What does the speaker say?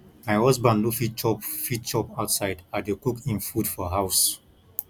my husband no fit chop fit chop outside i dey cook im food for house